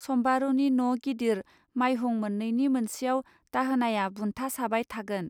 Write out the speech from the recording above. सम्बारूनि न' गिदिर माइहुं मोननैनि मोनसेआव दाहोनाया बुन्था साबाय थागोन